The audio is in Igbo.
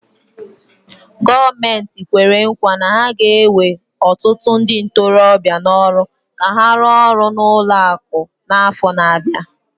Gọọmenti kwere nkwa na ha ga-ewe ọtụtụ ndị ntorobịa n'ọrụ ka ha rụọ ọrụ na ụlọ akụ n'afọ na-abịa.